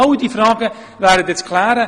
Alle diese Fragen gälte es zu klären.